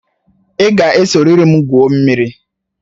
Ị ga esoriri m gwuo mmiri